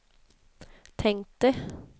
tänkte